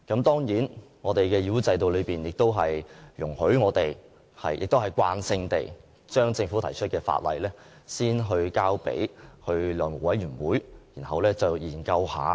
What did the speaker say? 當然，議會制度亦容許我們慣性地把政府提出的法案先交付法案委員會研究。